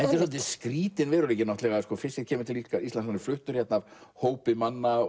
svolítið skrýtinn veruleiki fischer kemur til Íslands fluttur hingað af hópi manna